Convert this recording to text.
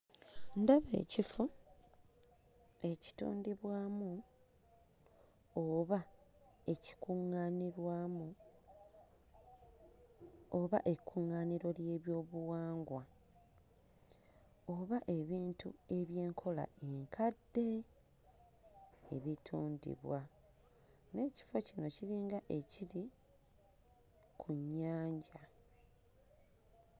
Ndaba ekifo ekitondebwamu oba ekikuŋŋaanirwamu oba ekkuŋŋaaniro ly'ebyobuwangwa oba ebintu eby'enkola enkadde ebitundibwa. N'ekifo kino kiringa ekiri ku nnyanja.